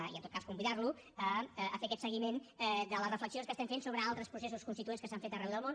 i en tot cas convidar lo a fer aquest seguiment de les reflexions que estem fent sobre altres processos constituents que s’han fet arreu del món